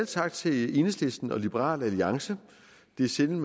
tak til enhedslisten og liberal alliance det er sjældent